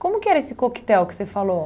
Como que era esse coquetel que você falou?